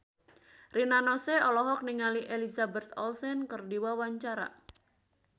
Rina Nose olohok ningali Elizabeth Olsen keur diwawancara